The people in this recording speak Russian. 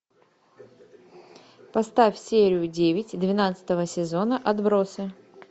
поставь серию девять двенадцатого сезона отбросы